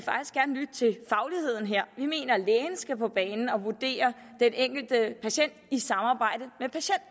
lytte til fagligheden her vi mener lægen skal på banen og vurdere den enkelte patient i samarbejde